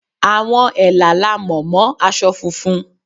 Àwọn Ẹ̀là la mọ̀ mọ́ aṣọ funfun.